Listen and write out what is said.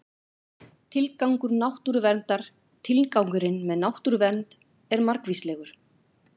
Tilgangur náttúruverndar Tilgangurinn með náttúruvernd er margvíslegur.